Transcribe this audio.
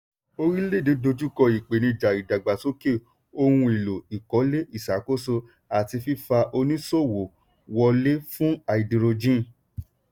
orílẹ̀-èdè dojú kọ ìpèníjà ìdàgbàsókè ohun-èlò ìkọ́lé ìṣàkóso àti fífa oníṣòwò wọlé fún háídírójìn.